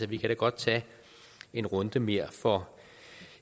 vi kan da godt tage en runde mere for